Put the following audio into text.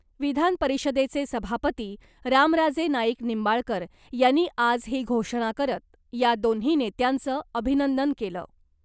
विधानपरिषदेचे सभापती रामराजे नाईक निंबाळकर यांनी आज ही घोषणा करत , या दोन्ही नेत्यांचं अभिनंदन केलं .